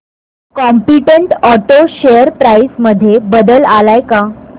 competent auto share price मध्ये बदल आलाय का